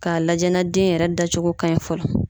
Ka lajɛ na den yɛrɛ da cogo ka ɲi fɔlɔ.